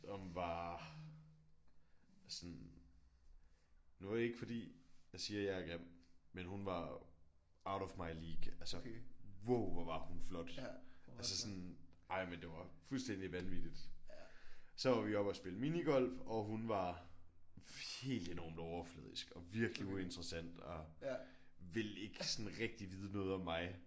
Som var sådan nu er det ikke fordi jeg siger jeg er grim men hun var out of my league altså wow hvor var hun flot altså sådan ej men det var fuldstændigt vanvittigt. Så var vi oppe at spille minigolf og hun var helt enormt overfladisk og virkelig uinteressant ville ikke sådan rigtigt vide noget om mig